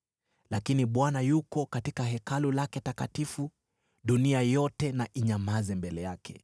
Lakini Bwana yuko katika Hekalu lake takatifu; dunia yote na inyamaze mbele yake.”